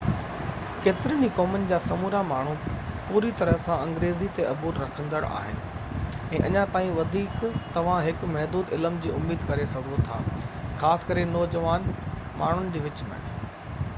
ڪيترين ئي قومن جا سمورا ماڻهو پوري طرح سان انگريزي تي عبور رکندڙ آهن ۽ اڃا تائين وڌيڪ توهان هڪ محدود علم جي اميد ڪري سگهو ٿا خاص ڪري نوجوان ماڻهن جي وچ ۾